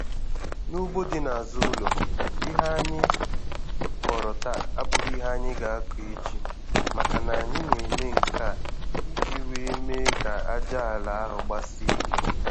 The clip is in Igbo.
N'ugbo dị n'azụ ụlọ, ihe anyị kọrọ taa abụghị ihe anyị ga-akọ echi, makana anyị na-eme nke a iji wee mee ka aja ala ahụ gbasie ike.